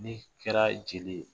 N'i kɛra jeli ye